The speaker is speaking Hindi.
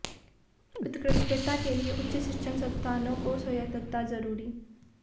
उत्कृष्टता के लिए उच्च शिक्षण संस्थानों को स्वायत्तता जरूरी